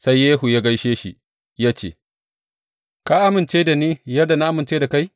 Sai Yehu ya gaishe shi, ya ce, Ka amince da ni yadda na amince da kai?